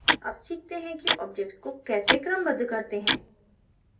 अब सीखते हैं कि objects को कैसे क्रमबद्ध करते हैं